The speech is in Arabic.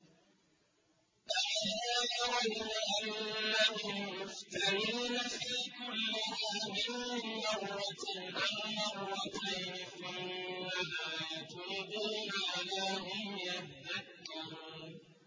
أَوَلَا يَرَوْنَ أَنَّهُمْ يُفْتَنُونَ فِي كُلِّ عَامٍ مَّرَّةً أَوْ مَرَّتَيْنِ ثُمَّ لَا يَتُوبُونَ وَلَا هُمْ يَذَّكَّرُونَ